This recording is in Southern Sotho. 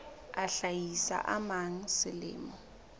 a hlahisa a mang selemo